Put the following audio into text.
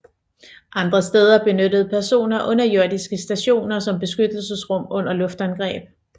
Andre steder benyttede personer underjordiske stationer som beskyttelsesrum under luftangreb